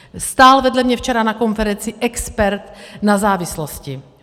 Stál vedle mě včera na konferenci expert na závislosti.